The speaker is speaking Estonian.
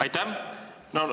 Aitäh!